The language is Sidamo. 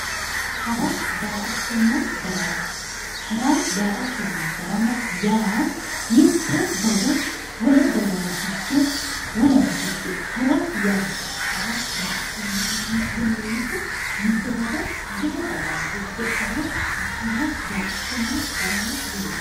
hara daa"attonna darama yaa mitte daga wole dagawa higge harate yaate hara daa''attonna darama yaa mitte daga wole dagawa higge hara yaa daa''attonna daramate yinanni.